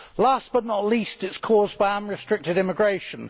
Last but not least, it is caused by unrestricted immigration.